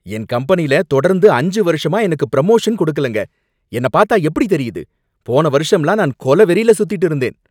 என் கம்பெனில தொடர்ந்து அஞ்சு வருஷமா எனக்கு ப்ரமோஷன் கொடுக்கலங்க, என்ன பார்த்தா எப்படி தெரியுது, போன வருஷம்லாம் நான் கொலவெறில சுத்திட்டு இருந்தேன்